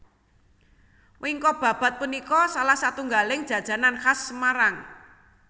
Wingko babad punika salah satunggaling jajanan khas Semarang